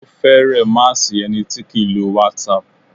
Ó fẹ̀rẹ má sí ẹni tí kìí lo whatsapp.